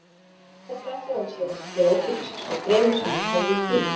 Þetta ætlaði hann sér að gera ókeypis svo fremur sem hann hefði tíma.